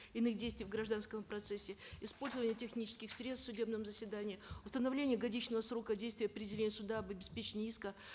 иных действий в гражданском процессе использование технических средств в судебном заседании установление годичного срока действия определения суда об обеспечении иска